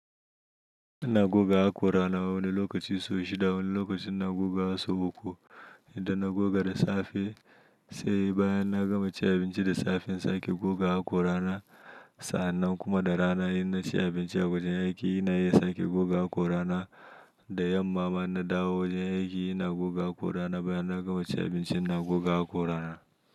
Ina goga hakora na wani lokaci so shida wani lokaci ina guga sau uku idan na goga da safe sai baya na gama ci abinci da safe in sake goga hakora na sa'a nan kuma da rana in na ci abinci a wajen aiki ina iya sake goga hakora na da yamma ma in na dawo wajen aiki ina goga hakora na baya na gama ci abinci ina goga hakora na.